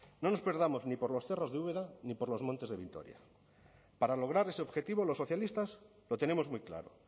no nos perdamos ni por los cerros de úbeda ni por los montes de vitoria para lograr ese objetivo los socialistas lo tenemos muy claro